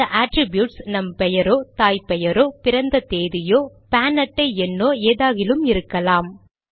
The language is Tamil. இந்த அட்ரிப்யூட்ஸ் நம் பெயரோ தாய் தந்தை பெயரோ பிறந்த தேதியோ பான் அட்டை எண்ணோ ஏதாகிலும் இருக்கலாம்